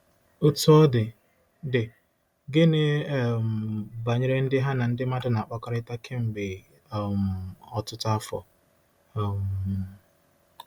Otú ọ dị, dị, gịnị um banyere ndị ha na ndị mmadụ na-akpakọrịta kemgbe um ọtụtụ afọ? um